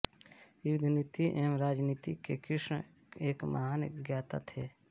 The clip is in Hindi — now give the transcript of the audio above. युद्धनीति एवं राजनीति के कृष्ण एक महान ज्ञाता थे